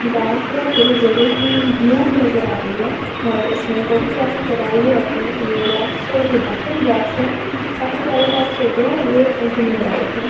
गाँव क्या पुरे जगह की व्यू नज़र आ रही है और इसमें कोरीयोग्राफी कराई है अपनी यह रॉक्स है यह डकन रॉक्स है काफ़ी पियारे रॉक्स है ये घुमने लायक है।